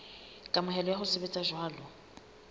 kamohelo ya ho sebetsa jwalo